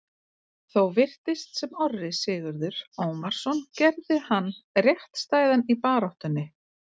Þó virtist sem Orri Sigurður Ómarsson gerði hann réttstæðan í baráttunni.